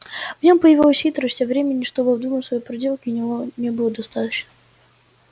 в нём появилась хитрость а времени чтобы обдумать свои проделки у него не было достаточно